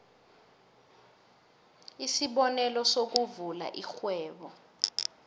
isibonelo sokuvula irhwebo